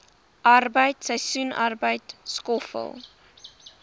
arbeid seisoensarbeid skoffel